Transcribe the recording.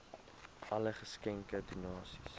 alle geskenke donasies